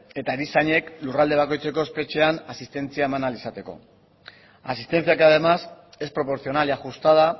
eta erizainek lurralde bakoitzeko espetxean asistentzia eman ahal izateko asistencia que además es proporcional y ajustada